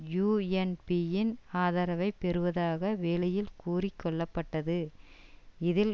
யூஎன்பியின் ஆதரவை பெறுவதாக வெளியில் கூறி கொள்ளப்பட்டது இதில்